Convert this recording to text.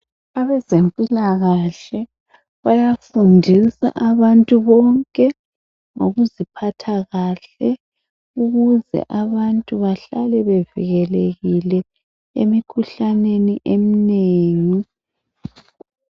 Abezempilakahle bayafundisa abantu bonke ngokuziphatha kahle ukuze abantu bahlale bevikelekile emikhuhlaneni eminengi.